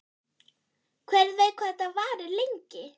Hver veit hvað þetta varir lengi?